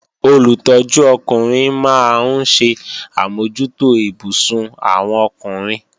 Olùtọ́jú ọkùnrin máa ń ṣe àmójútó ibùsùn àwọn ọkùnrin